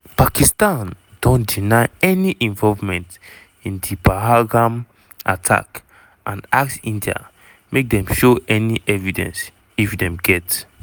pakistan don deny any involvement in di pahalgam attack and ask india make dem show any evidence if dem get.